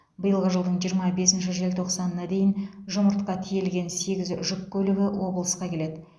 биылғы жылдың жиырма бесінші желтоқсанына дейін жұмыртқа тиелген сегіз жүк көлігі облысқа келеді